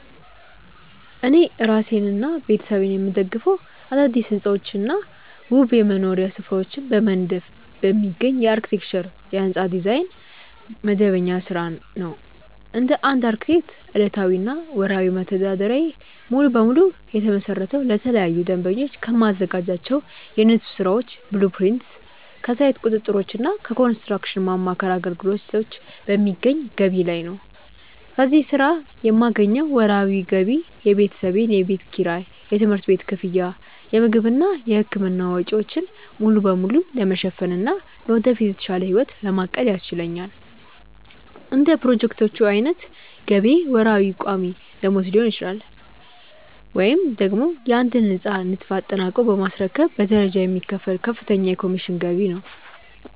እኔ እራሴንና ቤተሰቤን የምደግፈው አዳዲስ ሕንፃዎችንና ውብ የመኖሪያ ስፍራዎችን በመንደፍ በሚገኝ የአርክቴክቸር (የሕንፃ ዲዛይን) መደበኛ ሥራ ነው። እንደ አንድ አርክቴክት፣ ዕለታዊና ወርሃዊ መተዳደሪያዬ ሙሉ በሙሉ የተመሰረተው ለተለያዩ ደንበኞች ከማዘጋጃቸው የንድፍ ሥራዎች (blueprints)፣ ከሳይት ቁጥጥሮችና ከኮንስትራክሽን ማማከር አገልግሎቶች በሚገኝ ገቢ ላይ ነው። ከዚህ ሥራ የማገኘው ወርሃዊ ገቢ የቤተሰቤን የቤት ኪራይ፣ የትምህርት ቤት ክፍያ፣ የምግብና የሕክምና ወጪዎችን ሙሉ በሙሉ ለመሸፈንና ለወደፊት የተሻለ ሕይወት ለማቀድ ያስችለኛል። እንደ ፕሮጀክቶቹ ዓይነት ገቢዬ ወርሃዊ ቋሚ ደመወዝ ሊሆን ይችላል፤ ወይም ደግሞ የአንድን ሕንፃ ንድፍ አጠናቆ በማስረከብ በደረጃ የሚከፈል ከፍተኛ የኮሚሽን ገቢ ነው።